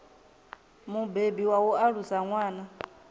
mubebi wa u alusa ṅwana